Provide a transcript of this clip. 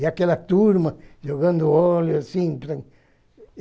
E aquela turma jogando óleo, assim.